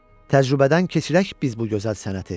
Təcrübədən keçirək biz bu gözəl sənəti.